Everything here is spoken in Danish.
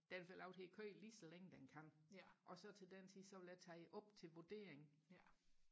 den får lov til og køre lige så længe den kan og så til den tid så vil jeg tage op til vurdering